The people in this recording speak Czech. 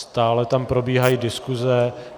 Stále tam probíhají diskuze.